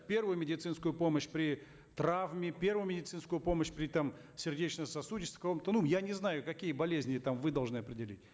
первую медицинскую помощь при травме первую медицинскую помощь при там сердечно сосудистых кому то ну я не знаю какие болезни там вы должны определить